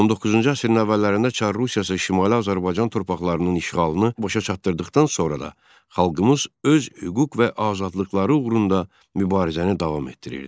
19-cu əsrin əvvəllərində Çar Rusiyası Şimali Azərbaycan torpaqlarının işğalını başa çatdırdıqdan sonra da xalqımız öz hüquq və azadlıqları uğrunda mübarizəni davam etdirirdi.